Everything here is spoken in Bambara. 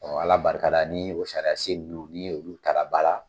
Ɔ Ala barika la ni o sariya sen nunnu ni olu ta la ba la.